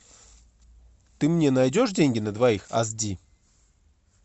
ты мне найдешь деньги на двоих аш ди